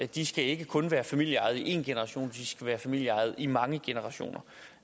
de skal ikke kun være familieejede i en generation de skal være familieejede i mange generationer